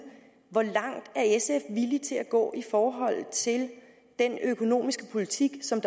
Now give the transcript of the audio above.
hvor langt er sf villig til at gå i forhold til den økonomiske politik som